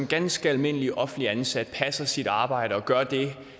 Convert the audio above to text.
ganske almindelig offentligt ansat passer sit arbejde og gør det